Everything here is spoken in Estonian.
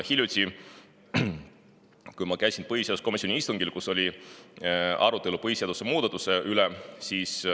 Hiljuti ma käisin põhiseaduskomisjoni istungil, kus oli arutelu põhiseaduse muudatuse üle.